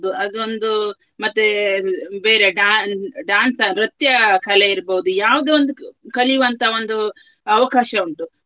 ಅದೊಂದು ಮತ್ತೆ ಬೇರೆ dan~ dance ನೃತ್ಯಕಲೆ ಇರ್ಬೋದು ಯಾವುದೊಂದು ಕಲಿಯುವಂತ ಒಂದು ಅವಕಾಶ ಉಂಟು.